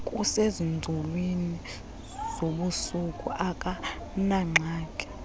kusezinzulwini zobusuku akanangxaki